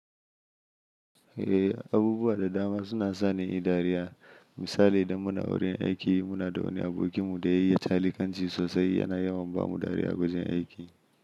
Eh, abubuwa da dama suna sani in yi dariya. Misali, idan muna wurin aiki, muna da wani abokinmu daya iya calikanci sosai yana yawan bamu dariya a wajen aiki.